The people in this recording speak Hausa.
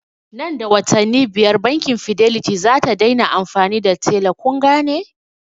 Nan da watanni biyar bankin fidelity zata dai na amfani da tella kungane?